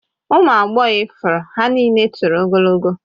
Ụmụ agbọghọ ifuru ya niile toro ogologo